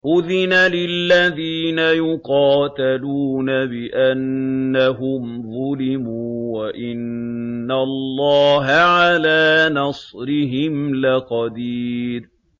أُذِنَ لِلَّذِينَ يُقَاتَلُونَ بِأَنَّهُمْ ظُلِمُوا ۚ وَإِنَّ اللَّهَ عَلَىٰ نَصْرِهِمْ لَقَدِيرٌ